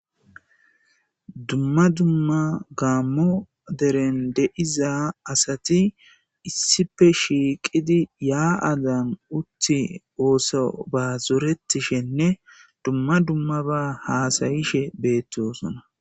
Dumma dumma gammo deren de''iza asati issippe shiqidi ya'zan uttidi ossoba zoretishshenne dumma dummaba zoretishshe detes